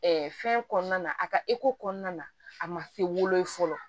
fɛn kɔnɔna na a ka kɔnɔna na a ma se wolo fɔlɔ